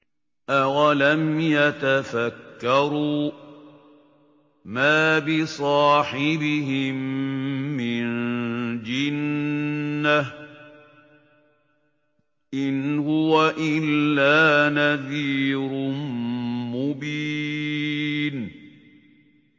أَوَلَمْ يَتَفَكَّرُوا ۗ مَا بِصَاحِبِهِم مِّن جِنَّةٍ ۚ إِنْ هُوَ إِلَّا نَذِيرٌ مُّبِينٌ